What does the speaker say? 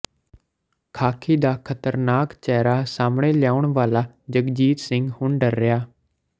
ਖ਼ਾਕੀ ਦਾ ਖਤਰਨਾਕ ਚਿਹਰਾ ਸਾਹਮਣੇ ਲਿਆਉਣ ਵਾਲਾ ਜਗਜੀਤ ਸਿੰਘ ਹੁਣ ਡਰ ਰਿਹੈ